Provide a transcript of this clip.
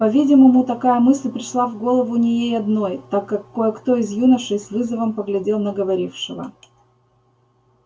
по-видимому такая мысль пришла в голову не ей одной так как кое-кто из юношей с вызовом поглядел на говорившего